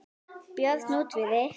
Björn útivið.